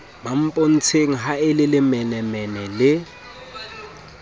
mmampontsheng ha o lelemenemene le